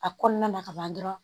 A kɔnɔna na ka ban dɔrɔn